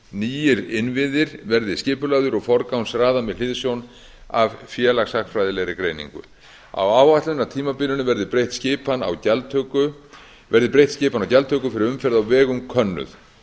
nýir innviðir verði skipulagðir og forgangsraðað með hliðsjón af félagshagfræðilegri greiningu á áætlunartímabilinu verði breytt skipan á gjaldtöku fyrir umferð á vegum könnuð